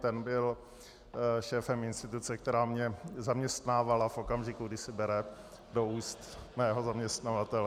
Ten byl šéfem instituce, která mě zaměstnávala v okamžiku, kdy si bere do úst mého zaměstnavatele.